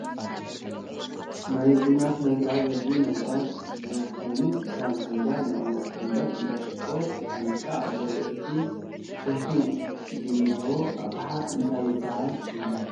ናይ ቡና ስነስርዓት ዝድልዩ ነግራት ዝኪኑ ክም ፍንጃል፣ መቀመጢ ፍንጃል ፣እንዳ ሽኮርን ፍንድሻን ኣልዉ እቲ ትኪ ዝኔሀዎ ኣቅሓ እንታ ይብሃል ሽሙ?